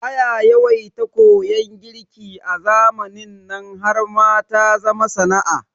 Aya yawaita koyan girki a zamanin nan har ma ta zama sana'a